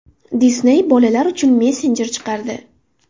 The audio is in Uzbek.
Disney bolalar uchun messenjer chiqardi.